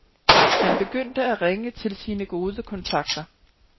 Han begyndte at ringe til sine gode kontakter.